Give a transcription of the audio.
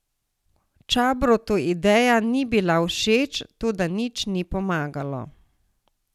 Čabrotu ideja ni bila všeč, toda nič ni pomagalo.